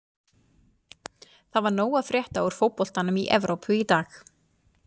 Það var nóg að frétta úr fótboltanum í Evrópu í dag.